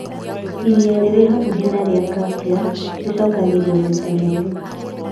Iria rĩrĩ hakuhĩ na iria rĩa Caspian, rĩcokagĩrio maita merĩ